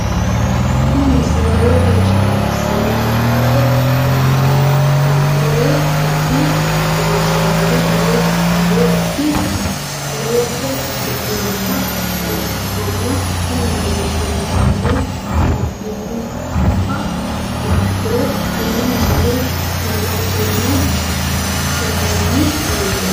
tini misile lowo geeshsha baxissannote la"ate injiitanno woy la'ne ronsannire lowote afidhinota ikkitanna tini leellishshannonkeri la'nummoha ikkiro tini misile kiilotenni hirranni muuzeeti.